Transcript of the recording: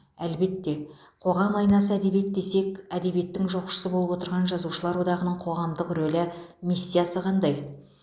әлбетте қоғам айнасы әдебиет десек әдебиеттің жоқшысы болып отырған жазушылар одағының қоғамдық рөлі миссиясы қандай